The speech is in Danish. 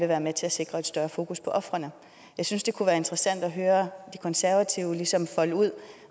være med til at sikre et større fokus på ofrene jeg synes det kunne være interessant at høre de konservative ligesom folde ud